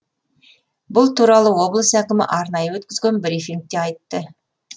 бұл туралы облыс әкімі арнайы өткізген брифингте айтты